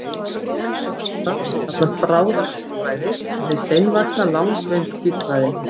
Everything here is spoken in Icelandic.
Það sem vex hratt kallast bráðahvítblæði en hið seinvaxna langvinnt hvítblæði.